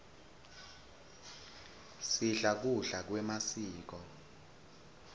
sidla kudla kwemasiko